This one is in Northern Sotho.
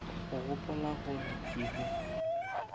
o gopola gore ke be